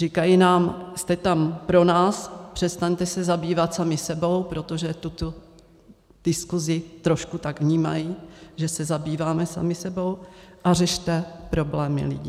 Říkají nám, jste tam pro nás, přestaňte se zabývat sami sebou, protože tuto diskusi trošku tak vnímají, že se zabýváme sami sebou, a řešte problémy lidí.